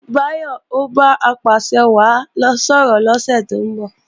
Báyọ̀ o bá Apàṣẹwàá sọ̀rọ̀ lọ́sẹ̀ tó ń bọ̀